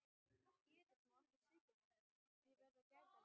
Geðið má ekki svíkja mig, ég verð að gæta mín.